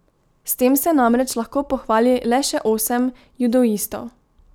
S tem se namreč lahko pohvali le še osem judoistov.